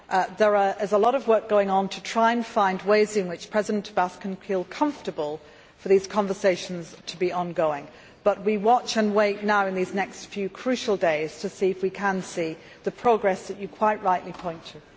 There is a lot of work going on to try to find ways in which President Abbas can feel comfortable for these conversations to be ongoing, but we watch and wait now in these next few crucial days to see if we can see the progress that you quite rightly point to.